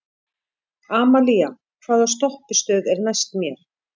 Amalía, hvaða stoppistöð er næst mér?